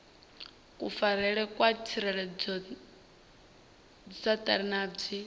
kufarelwe kwa dziredzhisiṱara na dzi